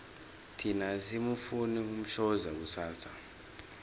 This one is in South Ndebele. thina asimufuni umshoza kusasa